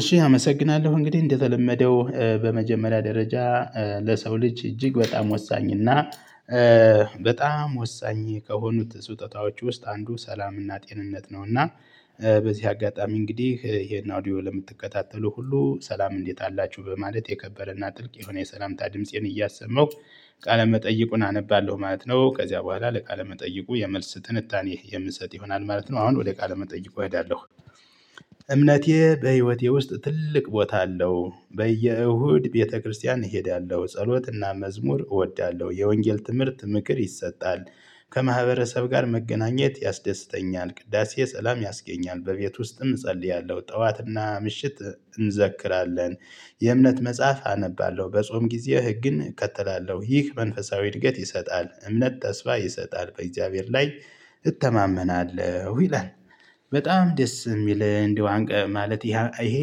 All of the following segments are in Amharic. እሺ አመሰግናለሁ እንግዲህ እንደተለመደው በመጀመሪያ ደረጃ ለሰው ልጅ እጅግ በጣም ወሳኝና በጣም ወሳኝ ከሆኑት ስጦታዎች ውስጥ አንዱ ሰላምና ጤንነት ነው። እና በዚህ አጋጣሚ እንግዲህ ይሄን አውዲዮ ለምትከታተሉ ሁሉ ሰላም እንዴት አላችሁ በማለት የከበረና ጥልቅ የሆነ የሰላምታ ድምፄን እያሰማሁ ቃለ መጠይቁን አነባለሁ ማለት ነው። ከዚያ በኋላ ለቃለ መጠይቁ የመልስ ትንታኔ የምሰጥ ይሆናል ማለት ነው። አሁን ወደ ቃለ መጠይቁ እሄዳለሁ። እምነቴ በህይወቴ ውስጥ ትልቅ ቦታ አለው በየእሁድ ቤተክርስቲያን እሄዳለሁ ጸሎትና መዝሙር እወዳለሁ የወንጌል ትምህርት ምክር ይሰጣል። ከማህበረሰብ ጋር መገናኘት ያስደስተኛል ቅዳሴ ሰላም ያስገኛል። በቤት ውስጥም እጸልያለሁ ጠዋትና ምሽት እንዘክራለን። የእምነት መጽሐፍ አነባለሁ በጾም ጊዜ ህግን እከተላለሁ ይህ መንፈሳዊ እድገት ይሰጣል። እምነት ተስፋ ይሰጣል በእግዚአብሔር ላይ እተማመናለሁ ይላል። በጣም ደስ የሚል እንደው ማለት ይሄ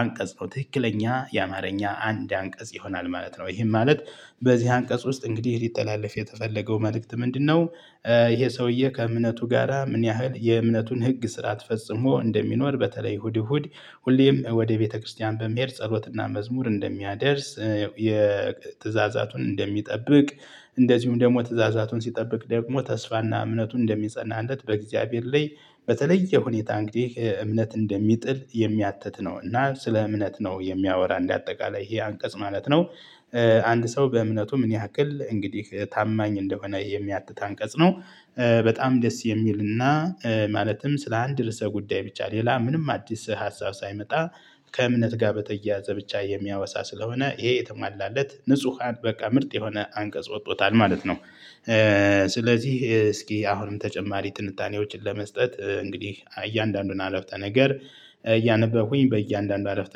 አንቀጽ ነው። ትክክለኛ የአማርኛ አንድ አንቀጽ ይሆናል ማለት ነው። ይሄም ማለት በዚህ አንቀጽ ውስጥ እንግዲህ ሊተላለፍ የተፈለገው መልእክት ምንድነው? ይሄ ሰውዬ ከእምነቱ ጋራ ምን ያህል የእምነቱን ህግ ስርዓት ፈጽሞ እንደሚኖር በተለይ እሁድ እሁድ ሁሌም ወደ ቤተክርስቲያን በመሄድ ጸሎትና መዝሙር እንደሚያደርስ የትእዛዛቱን እንደሚጠብቅ እንደዚሁም ደግሞ ትእዛዛቱን ሲጠብቅ ደግሞ ተስፋና እምነቱን እንደሚጸናለት በእግዚአብሔር ላይ በተለየ ሁኔታ እንግዲህ እምነት እንደሚጥል የሚያትት ነው። እና ስለ እምነት ነው የሚያወራ እንደ አጠቃላይ ይሄ አንቀጽ ማለት ነው። አንድ ሰው በእምነቱ ምን ያክል እንግዲህ ታማኝ እንደሆነ የሚያትት አንቀጽ ነው። በጣም ደስ የሚልና ማለትም ስለ አንድ ርዕሰ ጉዳይ ብቻ ሌላ ምንም አዲስ ሀሳብ ሳይመጣ ከእምነት ጋር በተያያዘ ብቻ የሚያወሳ ስለሆነ ይሄ የተሟላለት ንጹሃን በቃ ምርጥ የሆነ አንቀጽ ወጥቶታል ማለት ነው። ስለዚህ እስኪ አሁንም ተጨማሪ ትንታኔዎችን ለመስጠት እንግዲህ እያንዳንዱን አረፍተ ነገር እያነበብኩኝ በእያንዳንዱ አረፍተ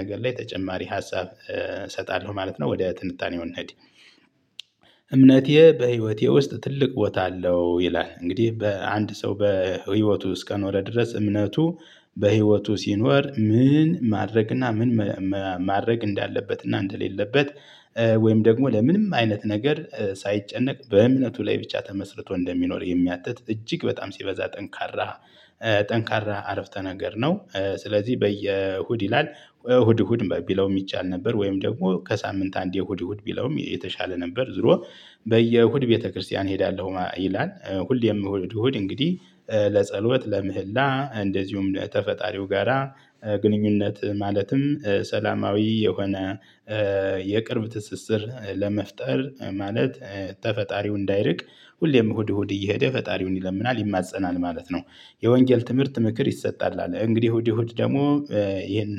ነገር ላይ ተጨማሪ ሀሳብ እሰጣለሁ ማለት ነው ወደ ትንታኔው እንሄድ። እምነቴ በህይወቴ ውስጥ ትልቅ ቦታ አለው ይላል እንግዲህ በአንድ ሰው በህይወቱ እስከኖረ ድረስ እምነቱ በህይወቱ ሲኖር ምን ማድረግ እና ምን ማድረግ እንዳለበት እና እንደሌለበት ወይም ደግሞ ለምንም አይነት ነገር ሳይጨነቅ በእምነቱ ላይ ብቻ ተመስርቶ እንደሚኖር የሚያትት እጅግ በጣም ሲበዛ ጠንካራ ጠንካራ አረፍተ ነገር ነው። ስለዚህ በየእሁድ ይላል እሁድ እሁድ ቢለውም ይቻል ነበር ወይም ደግሞ ከሳምንት አንዴ እሁድ እሁድ ቢለውም የተሻለ ነበር ዞሮ በየእሁድ ቤተክርስቲያን እሄዳለሁ ይላል ሁሌም እሁድ እሁድ እንግዲህ ለጸሎት ለምህላ እንደዚሁም ተፈጣሪው ጋራ ግንኙነት ማለትም ሰላማዊ የሆነ የቅርብ ትስስር ለመፍጠር ማለት ተፈጣሪው እንዳይርቅ ሁሌም እሁድ እሁድ እየሄደ ፈጣሪውን ይለምናል ይማፀናል ማለት ነው። የወንጌል ትምህርት ምክር ይሰጣል አለ እንግዲህ እሁድ እሁድ ደግሞ ይሄን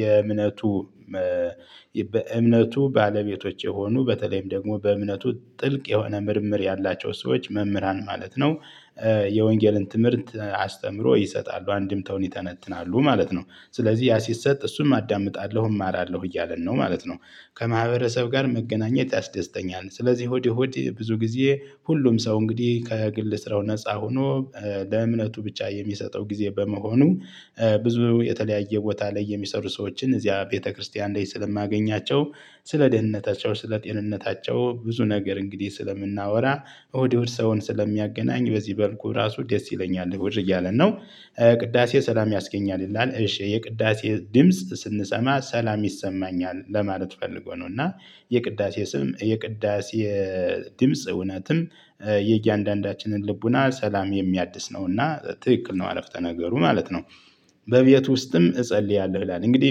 የእምነቱ በእምነቱ ባለቤቶች የሆኑ በተለይም ደግሞ በእምነቱ ጥልቅ የሆነ ምርምር ያላቸው ሰዎች መምህራን ማለት ነው። የወንጌልን ትምህርት አስተምሮ ይሰጣሉ አንድምታውን ይተነትናሉ ማለት ነው። ስለዚህ ያ ሲሰጥ እሱም አዳምጣለሁ እማራለሁ እያለን ነው ማለት ነው። ከማህበረሰብ ጋር መገናኘት ያስደስተኛል። ስለዚህ እሁድ እሁድ ብዙ ጊዜ ሁሉም ሰው እንግዲህ ከግል ስራው ነፃ ሁኖ ለእምነቱ ብቻ የሚሰጠው ጊዜ በመሆኑ ብዙ የተለያየ ቦታ ላይ የሚሰሩ ሰዎችን እዚያ ቤተክርስቲያን ላይ ስለማገኛቸው ስለ ደህንነታቸው ስለ ጤንነታቸው ብዙ ነገር እንግዲህ ስለምናወራ እሁድ እሁድ ሰውን ስለሚያገናኝ በዚህ መልኩ ራሱ ደስ ይለኛል እሁድ እያለን ነው። ቅዳሴ ሰላም ያስገኛል ይላል እሺ የቅዳሴ ድምጽ ስንሰማ ሰላም ይሰማኛል ለማለት ፈልጎ ነው። እና የቅዳሴ ስም የቅዳሴ ድምጽ እውነትም የእያንዳንዳችንን ልቡና ሰላም የሚያድስ ነው እና ትክክል ነው አረፍተ ነገሩ ማለት ነው። በቤት ውስጥም እጸልያለሁ ይላል እንግዲህ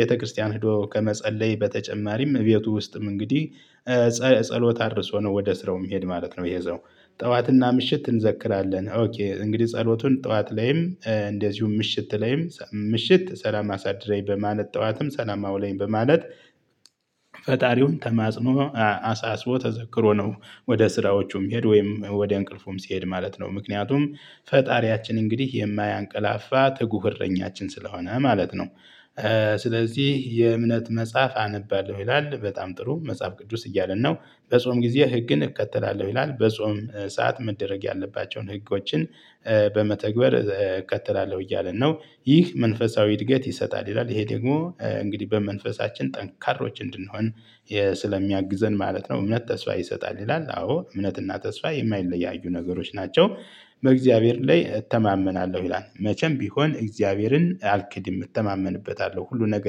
ቤተክርስቲያን ሄዶ ከመጸለይ በተጨማሪም እቤቱ ውስጥም እንግዲህ ጸሎት አድርሶ ነው ወደ ስራው እሚሄድ ማለት ነው። ይኸ ሰው ጠዋትና ምሽት እንዘክራለን ኦኬ እንግዲህ ጸሎቱን ጠዋት ላይም እንደዚሁም ምሽት ላይም ምሽት ሰላም አሳድረኝ በማለት ጠዋትም ሰላም አውለኝ በማለት ፈጣሪውን ተማጽኖ አሳስቦ ተዘክሮ ነው። ወደ ስራዎቹ እሚሄድ ወይም ወደ እንቅልፉም ሲሄድ ማለት ነው። ምክንያቱም ፈጣሪያችን እንግዲህ የማያንቀላፋ ትጉህ እረኛችን ስለሆነ ማለት ነው። ስለዚህ የእምነት መጽሐፍ አነባለሁ ይላል በጣም ጥሩ መጽሐፍ ቅዱስ እያለን ነው። በጾም ጊዜ ህግን እከተላለሁ ይላል በጾም ሰዓት መደረግ ያለባቸውን ህጎችን በመተግበር እከተላለሁ እያለ ነው። ይህ መንፈሳዊ እድገት ይሰጣል ይላል ይሄ ደግሞ እንግዲህ በመንፈሳችን ጠንካሮች እንድንሆን ስለሚያግዘን ማለት ነው። እምነት ተስፋ ይሰጣል ይላል አዎ እምነትና ተስፋ የማይለያዩ ነገሮች ናቸው። በእግዚአብሔር ላይ እተማመናለሁ ይላል መቼም ቢሆን እግዚአብሔርን አልክድም እተማመንበታለሁ ሁሉ ነገር